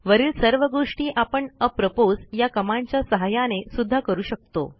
वरील सर्व गोष्टी आपण अप्रोपोस या कमांडच्या सहाय्याने सुध्दा करू शकतो